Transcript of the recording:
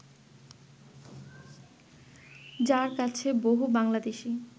যাঁর কাছে বহু বাংলাদেশি